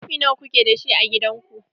Kofi nawa kuke dashi a gidan ku?